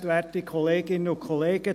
Für die SP-JUSO-PSA-Fraktion: Urs Graf.